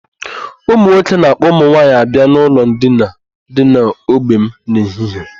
Ụmụ nwoke na-ạkpọ ụmụ nwaanyị abịa n'ụlọ ndina dị n'ogbe m n'ehihie.